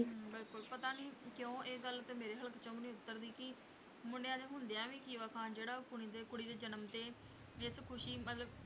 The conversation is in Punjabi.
ਹਮ ਬਿਲਕੁਲ ਪਤਾ ਨੀ ਕਿਉਂ ਇਹ ਗੱਲ ਤੇ ਮੇਰੇ ਹਲਕ ਚੋਂ ਵੀ ਨੀ ਉਤਰਦੀ ਕਿ ਮੁੰਡਿਆਂ ਦੇ ਹੁੰਦਿਆਂ ਵੀ ਖੀਵਾ ਖਾਨ ਜਿਹੜਾ ਉਹ ਕੁੜੀ ਦੇ ਕੁੜੀ ਦੇ ਜਨਮ ਤੇ ਇਸ ਖ਼ੁਸ਼ੀ ਮਤਲਬ